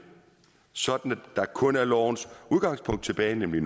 så der kun er lovens udgangspunkt tilbage nemlig